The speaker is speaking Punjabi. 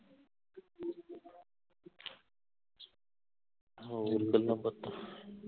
ਹੋਰ ਗੱਲਾਂ ਬਾਤਾਂ